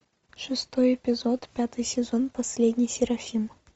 шестой эпизод пятый сезон последний серафим